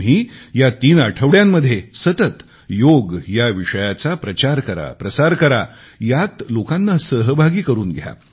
तुम्ही या तीन आठवड्यामध्ये सतत योग या विषयाचा प्राचार करा प्रसार करा यात लोकांना सहभागी करून घ्या